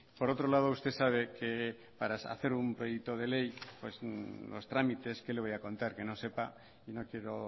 por otro lado usted sabe que para hacer un proyecto de ley pues los tramites qué le voy a contar que no sepa y no quiero